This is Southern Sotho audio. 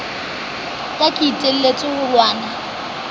ka ke iteletse ho lwana